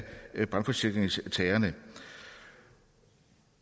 af brandforsikringstagerne